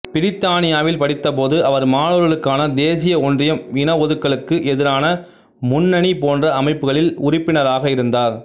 பிரித்தானியாவில் படித்த போது அவர் மாணவர்களுக்கான தேசிய ஒன்றியம் இனவொதுக்கலுக்கு எதிரான முன்னணி போன்ற அமைப்புகளில் உறுப்பினராக இருந்தார்